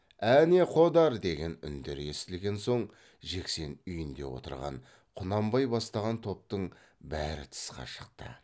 әне қодар деген үндер естілген соң жексен үйінде отырған құнанбай бастаған топтың бәрі тысқа шықты